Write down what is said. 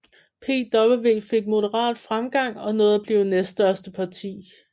PVV fik moderat fremgang og nåede at blive næststørste parti